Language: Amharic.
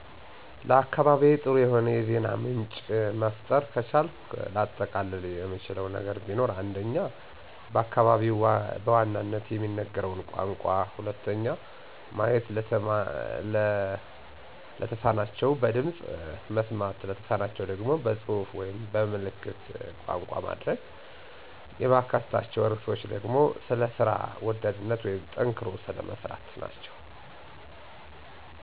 ለአካባቢዬ ጥሩ የሆነ የዜና ምንጭ መፍጠር ከቻልኩ ላጠቃልል የምችለው ነገር ቢኖር:- 1. በአካባቢው በዋናነት የሚነገረውን ቋንቋ 2. ማየት ለተማናቸው በድምፅ፣ መስማት ለተሳናቸው ደግሞ በፅሁፍ ወይም በ ምልክት ቋንቋ። የማካትታቸው ርዕሶች ደግሞ ስለ ስራ ወዳድነት ወይም ጠንክሮ ስለ መስራት።